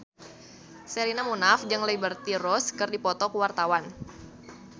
Sherina Munaf jeung Liberty Ross keur dipoto ku wartawan